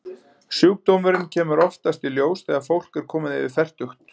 Sjúkdómurinn kemur oftast í ljós þegar fólk er komið yfir fertugt.